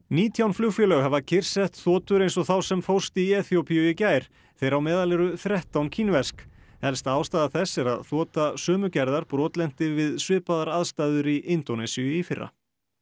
nítján flugfélög hafa kyrrsett þotur eins og þá sem fórst í Eþíópíu í gær þeirra á meðal eru þrettán kínversk helsta ástæða þess er sú að þota sömu gerðar brotlenti við svipaðar aðstæður í Indónesíu í fyrra